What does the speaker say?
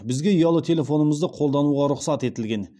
бізге ұялы телефонымызды қолдануға рұқсат етілген